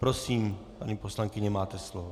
Prosím, paní poslankyně, máte slovo.